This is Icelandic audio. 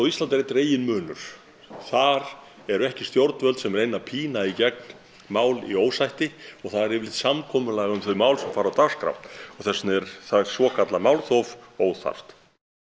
Íslandi er einn reginmunur þar eru ekki stjórnvöld sem reyna að pína í gegn mál í ósætti og það er yfirleitt samkomulag um þau mál sem fara á dagskrá og þess vegna er þar svokallað málþóf óþarft